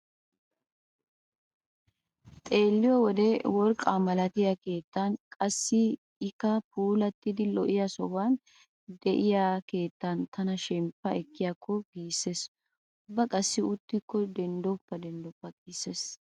Xeelliyo wode worqqaa malatiya keettan qassi ikka puulattidi lo'iya sohuwan de'iya keettan tana shemppa ekkiyaakko giissees. Ubba qassi uttikko denddoppa denddoppa giissees.